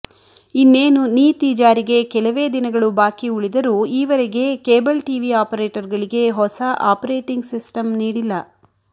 ಇನ್ನೇನು ನೀತಿ ಜಾರಿಗೆ ಕೆಲವೇ ದಿನಗಳು ಬಾಕಿ ಉಳಿದರೂ ಈವರೆಗೆ ಕೇಬಲ್ ಟಿವಿ ಅಪರೇಟರ್ಗಳಿಗೆ ಹೊಸ ಆಪರೇಟಿಂಗ್ ಸಿಸ್ಟಂ ನೀಡಿಲ್ಲ